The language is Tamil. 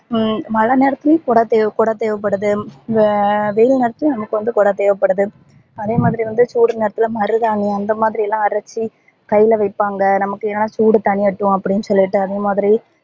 உம் மழை நேரத்துலையும் கொட தேவ கொடை தேவபடுது ஹம் வெயில் நேரத்துலையும் நமக்கு வந்து கொட தேவப்படுது அதே மாதிரி வந்து சூடு நேரத்துல மருதாணி அந்த மாதிரிலா அரச்சி கைல வைப்பாங்க நமக்கு என்னனா சூடு தணியட்டும் அப்டின்னு சொல்லிட்டு அதே மாதிரி